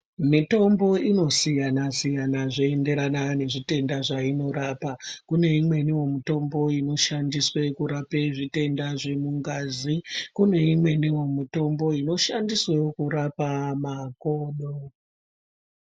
Mitombo inosiyanasiyana zveienderana nezvitenda zvainorapa kuneimweniwo mitombo inoshandiswe kurape zvitenda zvemungazi, kuneimweniwo mitombo inoshandiswewo kurapa makodo.